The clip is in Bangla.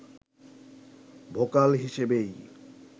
ভোকাল হিসেবেই